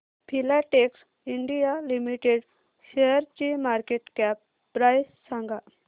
Filatex India limited शेअरची market cap price सांगा